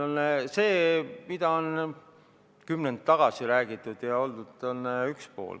See, mida kümnend tagasi räägiti, on üks pool.